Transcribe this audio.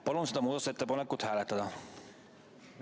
Palun seda muudatusettepanekut hääletada!